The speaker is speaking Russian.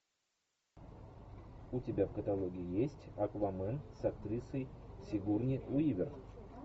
у тебя в каталоге есть аквамен с актрисой сигурни уивер